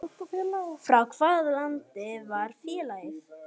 Frá hvaða landi var félagið?